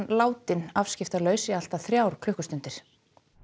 látinn afskiptalaus í allt að þrjár klukkustundir